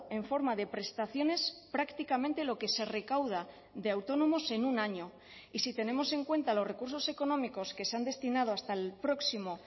en forma de prestaciones prácticamente lo que se recauda de autónomos en un año y si tenemos en cuenta los recursos económicos que se han destinado hasta el próximo